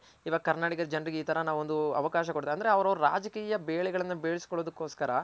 ಇವಾಗ ಕರ್ನಾಟಕದ ಜನರಿಗೆ ಇ ತರ ನಾವು ಒಂದು ಅವಕಾಶ ಕೊಡ್ತ ಅಂದ್ರೆ ಅವ್ರು ರಾಜಕೀಯ ಬೆಳೆಗಳನ ಬೇಯ್ಸ್ ಕೊಳೋದುಕೊಸ್ಕರ